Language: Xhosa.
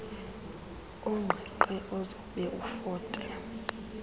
oqingqe ozobe ofote